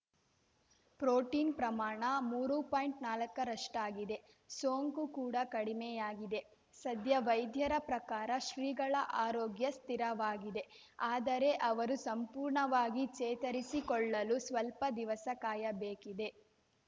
protein ಪ್ರಮಾಣ ಮೂರು ಪಾಯಿಂಟ್ನಾಲ್ಕರಷ್ಟಾಗಿದೆ ಸೋಂಕು ಕೂಡ ಕಡಿಮೆಯಾಗಿದೆ ಸದ್ಯ ವೈದ್ಯರ ಪ್ರಕಾರ ಶ್ರೀಗಳ ಆರೋಗ್ಯ ಸ್ಥಿರವಾಗಿದೆ ಆದರೆ ಅವರು ಸಂಪೂರ್ಣವಾಗಿ ಚೇತರಿಸಿಕೊಳ್ಳಲು ಸ್ವಲ್ಪ ದಿವಸ ಕಾಯಬೇಕಿದೆ